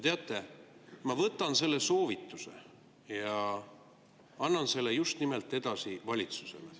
Teate, ma võtan selle soovituse ja annan selle edasi just nimelt valitsusele.